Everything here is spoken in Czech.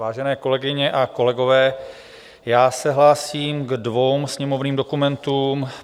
Vážené kolegyně a kolegové, já se hlásím ke dvěma sněmovním dokumentům.